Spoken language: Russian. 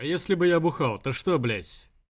а если бы я бухал то что блять